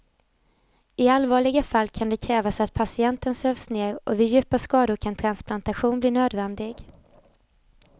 I allvarliga fall kan det krävas att patienten sövs ner och vid djupa skador kan transplantation bli nödvändig.